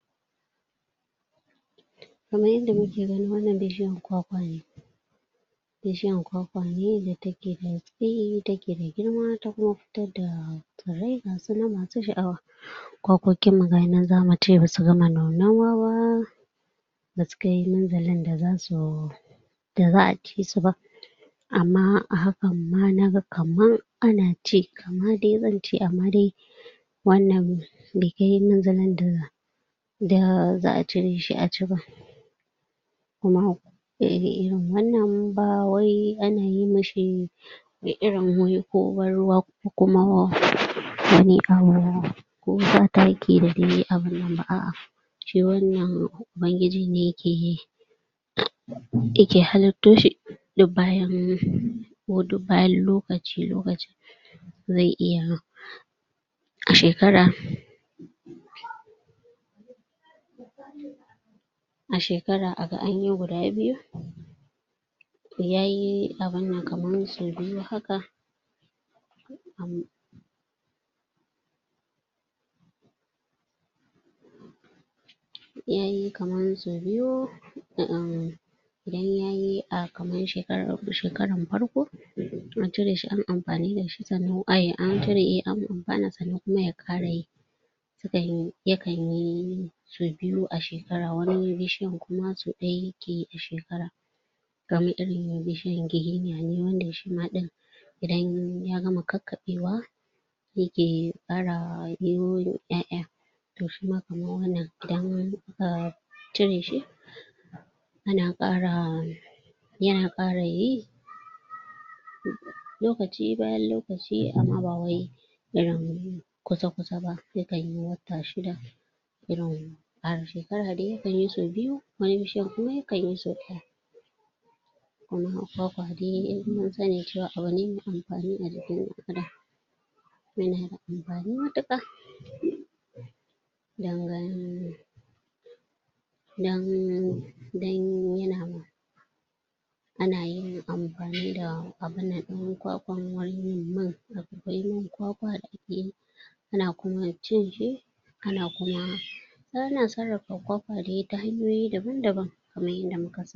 Kaman yanda muke gani wannan bishiyan kwakwa ne bishiyan kwakwa ne da take da tsayi ta ke da girma kuma ta fidda furai gasu nan masu sha'awa kwakwokin nan wasu nan zamu ce basu gama nunawa ba ba su kai munzalin da zasu da za a ci su ba amma a hakan ma naga kaman ana ci kama dai zance amma dai wannan bai kai munzalin da da za a cire shi a ci ba kuma wannan ba wai ana yi mishi irin wai ko ban ruwa kuma ko sa taki da dai abunnan ba a'a shi wannan ubangiji ne yake yake halitto shi duk bayan ko duk bayan lokaci lokaci zai iya a shekara a shekara a ga anyi guda biyu yayi abunnan kaman sau biyu haka um yayi kaman sau biyu um idan yayi a kamar shekaran farko to a cire shi anyi amfani da shi ay sannan an cire an amfana sannan kuma ya ƙara yi um yakan yi sau biyu a shekara a wani bishiyan kuma sau ɗaya kawai yake yi a shekara kaman irin bishiyan giginya ne wanda shima ɗin idan ya gama kakkaɓewa yake ƙara yiwo ƴaƴa to shima kaman wannan idan aka cire shi ana ƙara yana ƙara yi lokaci bayan lokaci amma ba wai irin kusa kusa ba yakan yi wata shida irin a shekara dai yakan yi sau biyu wani bishiyan kuma yakan yi sau ɗaya kuma kwakwa dai munsani cewa abune mai amfa`ni a jikin ɗan adam yana da amfani matuƙa nan don yana Ana yin amfani da abunnan ɗin kwakwa wurin yin man kwakwa da ake yi ana kuma cinshi ana kuma ana sarrafa kwakwa dai ta hanyoyi daban daban kamar yadda muka sani